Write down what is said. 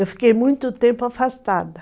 Eu fiquei muito tempo afastada.